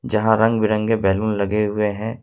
जहां रंग-बिरंगे बैलून लगे हुए हैं।